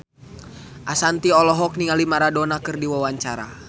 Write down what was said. Ashanti olohok ningali Maradona keur diwawancara